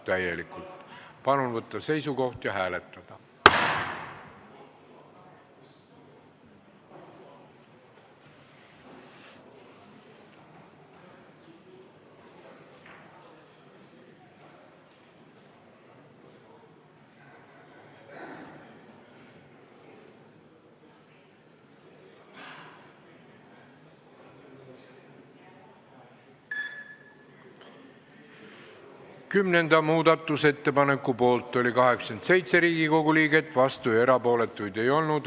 Hääletustulemused Kümnenda muudatusettepaneku poolt oli 87 Riigikogu liiget, vastuolijaid ega erapooletuid ei olnud.